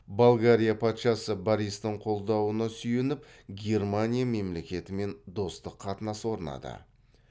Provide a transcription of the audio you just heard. болгария патшасы бористің қолдауына сүйеніп германия мемлекетімен достық қатынас орнатады